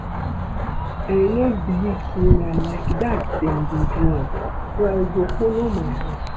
I no believe say na like dat dem dey do am so I go follow my heart